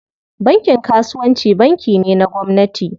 Bankin kasuwanci banki ne na gwamnati.